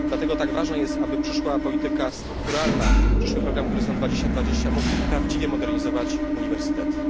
Dlatego tak ważne jest, aby przyszła polityka strukturalna, przyszły program Horyzont 2020mógł prawdziwie modernizować uniwersytety.